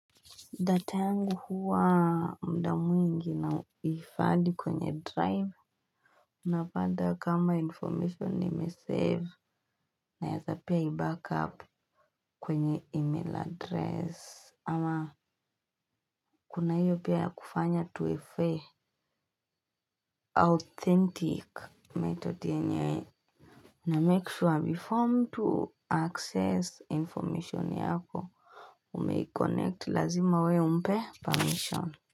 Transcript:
Data yangu huwa muda mwingi nahifadhi kwenye drive. Napanda kama information nimesave. Naeza pia i-backup kwenye email address. Ama kuna hiyo pia ya kufanya tuwefe authentic method yenye. Namake sure before mtu access information yako. Umei-connect lazima we umpe permission.